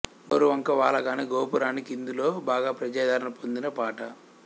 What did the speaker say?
గోరువంక వాలగానె గోపురానికి ఇందులో బాగా ప్రజాదరణ పొందిన పాట